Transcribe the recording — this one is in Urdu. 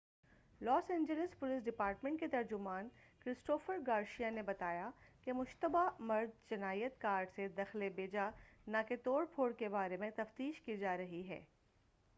لاس انجلیس پولیس ڈپارٹمنٹ کے ترجمان کرسٹوفر گارشیا نے بتایا کہ مشتبہ مرد جنایت کار سے دخلِ بیجا نہ کہ توڑ پھوڑ کے بارے میں تفتیش کی جا رہی ہے